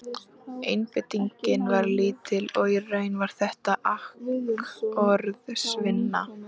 Einbeitingin var lítil og í raun var þetta akkorðsvinna.